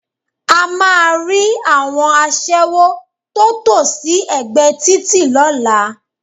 A máa rí àwọn aṣẹ́wó tó tò sí ẹ̀gbẹ́ títì lọ́la